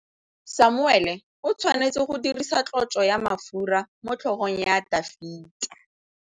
Samuele o tshwanetse go dirisa tlotsô ya mafura motlhôgong ya Dafita.